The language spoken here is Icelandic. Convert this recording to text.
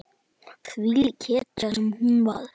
Þvílík hetja sem hún var.